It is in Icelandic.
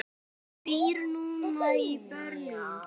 Hún býr núna í Berlín.